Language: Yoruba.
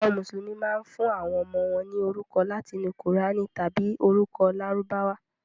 Àwọn Mùsùlùmí máa ń fún àwọn ọmọ wọn ní orúkọ láti inú Kùránì tàbí orúkọ Lárúbáwá.